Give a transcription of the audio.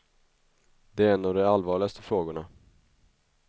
Det är en av de allvarligaste frågorna.